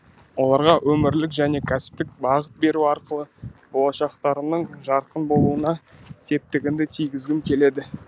оларға өмірлік және кәсіптік бағыт беру арқылы болашақтарының жарқын болуына септігімді тигізгім келеді